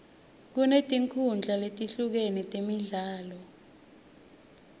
kunetinkhundla letehlukene temidlalo